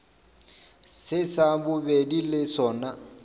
se sa bobedi le sona